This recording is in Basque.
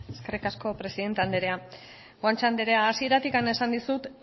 eskerrik asko presidente andrea guanche andrea hasieratik esan dizut